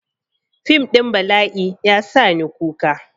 Fim ɗin bala'i ya sa ni kuka.